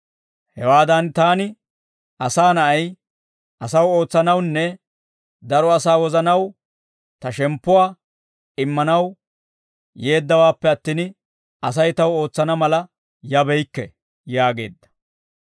Hewaadan taani, Asaa Na'ay, asaw ootsanawunne daro asaa wozanaw ta shemppuwaa immanaw yeeddawaappe attin, Asay taw ootsana mala yabeykke» yaageedda.